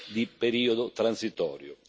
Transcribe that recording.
di periodo transitorio.